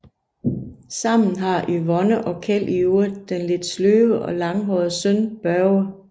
Sammen har Yvonne og Kjeld i øvrigt den lidt sløve og langhårede søn Børge